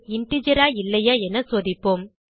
integer ஆ இல்லையா என சோதிப்போம்